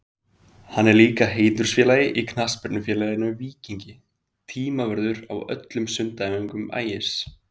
Hann er líka heiðursfélagi í knattspyrnufélaginu Víkingi, tímavörður á öllum sundæfingum Ægis.